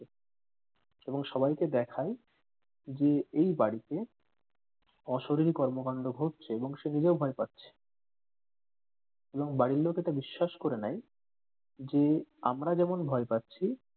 এবং সবাইকে দেখায় যে এই বাড়িতে অশরিরি কর্মকান্ড ঘটছে এবং সে নিজেও ভয় পাচ্ছে এবং বাড়ির লোক এটা বিশ্বাস করে নেয় যে আমারা যেমন ভয় পাচ্ছি